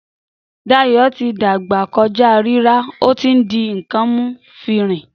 Dàyọ́ ti dàgbá kójà rírà, òtí ń dín kàn mú fírìn